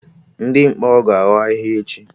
Ndị mkpọrọ ga-anọ ahịhịa echi